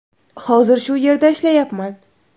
Hozir shu yerda ishlayapman.